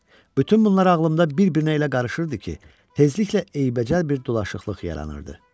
Bütün bunlar ağlımda bir-birinə elə qarışırdı ki, tezliklə eybəcər bir dolaşıqlıq yaranırdı.